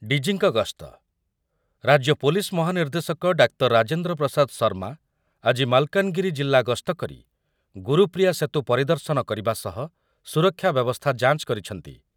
D. G. ଙ୍କ ଗସ୍ତ,, ରାଜ୍ୟ ପୋଲିସ ମହାନିର୍ଦ୍ଦେଶକ ଡାକ୍ତର ରାଜେନ୍ଦ୍ର ପ୍ରସାଦ ଶର୍ମା ଆଜି ମାଲକାନଗିରି ଜିଲ୍ଲା ଗସ୍ତ କରି ଗୁରୁପ୍ରିୟା ସେତୁ ପରିଦର୍ଶନ କରିବା ସହ ସୁରକ୍ଷା ବ୍ୟବସ୍ଥା ଯାଞ୍ଚ କରିଛନ୍ତି ।